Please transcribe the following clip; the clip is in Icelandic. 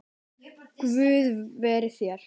Guð veri þér.